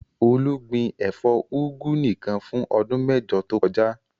Olú gbin ẹ̀fọ́ úgú nìkan fún ọdún mẹ́jọ tó kọjá.